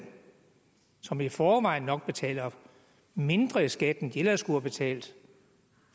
som i forvejen nok betaler mindre i skat end de ellers skulle have betalt